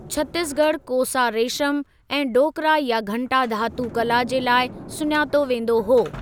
छत्तीसगढ़ कोसा रेशम ऐं डोकरा या घंटा धातू कला जे लाइ सुञातो वेंदो हो।